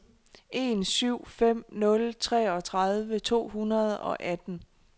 en syv fem nul treogtredive to hundrede og atten